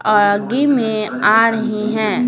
आगे में आ रही हैं।